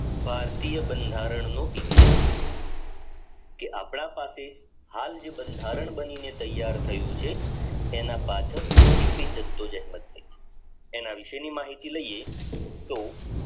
ભારતીય બંધારણ નો ઇતિહાસ જે આપણા પાસે હાલ જે બંધારણ બનીને તૈયાર થયું છે તેના પાછળ કેટલી જાગતો જગત થાય છે તેના વિશેની માહિતી લઈએ તો